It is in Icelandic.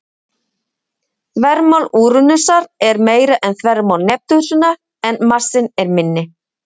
Þvermál Úranusar er meira en þvermál Neptúnusar, en massinn er minni.